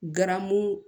Garamu